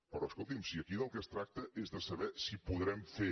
però escolti’m si aquí del que es tracta és de saber si podrem fer